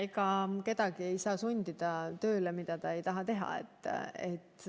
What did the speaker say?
Ega kedagi ei saa sundida tegema tööd, mida ta ei taha teha.